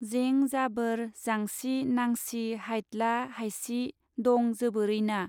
जें जाबोर जांसि नांसि हायद्ला हायसि दं जोबोरैना.